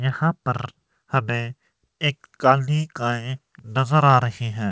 यहां पर हमें एक नजर आ रहीं हैं।